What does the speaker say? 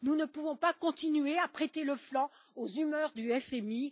Nous ne pouvons pas continuer à prêter le flanc aux humeurs du FMI.